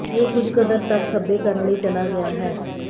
ਇਹ ਕੁਝ ਕਦਰ ਤੱਕ ਖੱਬੇ ਕਰਨ ਲਈ ਚਲਾ ਗਿਆ ਹੈ